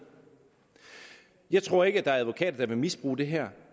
jeg tror ikke der er advokater der vil misbruge det her